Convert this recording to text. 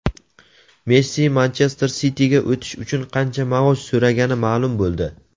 Messi "Manchester Siti"ga o‘tish uchun qancha maosh so‘ragani ma’lum bo‘ldi.